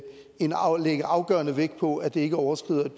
lægge afgørende vægt på at det ikke overskrider